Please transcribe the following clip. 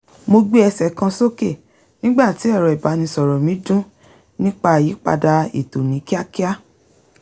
mo gbé ẹsẹ̀ kan sókè nígbà tí ẹ̀rọ ìbánisọ̀rọ̀ mi dún nípa àyípadà ètò ní kíákíá